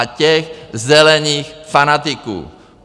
A těch zelených fanatiků.